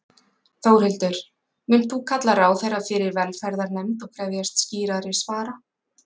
Þórhildur: Munt þú kalla ráðherra fyrir velferðarnefnd og krefjast skýrari svara?